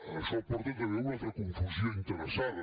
això porta també a una altra confusió interessada